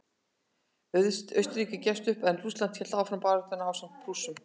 Austurríki gafst upp en Rússland hélt áfram baráttunni ásamt Prússum.